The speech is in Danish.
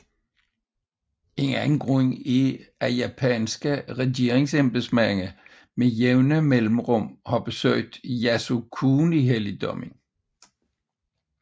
En anden grund er at japanske regeringsembedsmænd med jævne mellemrum har besøgt Yasukuni helligdommen